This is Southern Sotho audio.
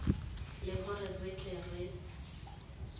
le hore re tle re